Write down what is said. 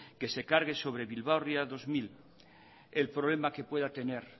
que se cargue sobre bilbao ría dos mil el problema que pueda tener